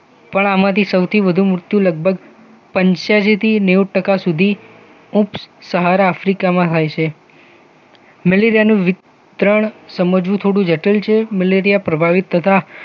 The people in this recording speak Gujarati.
પણ આમાંથી સૌથી વધુ મૃત્યુ લગભગ પંચયાસી થી નેઊ ટકા સુધી ઊપસહારા આફ્રિકામાં થાય છે મલેરિયાનું વિતરણ સમજવું થોડું જટિલ છે મેલેરિયા પ્રભાવિત તથા